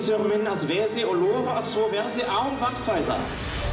minn að veði og lofa því að svo verði án vandkvæða